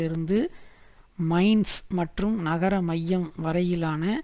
இருந்து மைன்ஸ் மற்றும் நகர மையம் வரையிலான